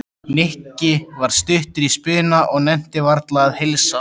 Nikki var stuttur í spuna og nennti varla að heilsa